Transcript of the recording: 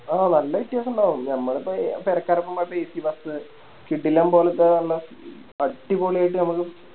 ആ നല്ല വ്യത്യസൊണ്ടാവും ഞമ്മളിപ്പോ എ പേരക്കാരൊപ്പം പോയപ്പോ ACBus കിടിലം പോലത്തെ നല്ലെ അടിപൊളിയായിട്ട് നമുക്ക്